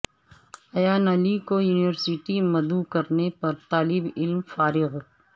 ایان علی کو یونیورسٹی مدعو کرنے پر طالب علم فارغ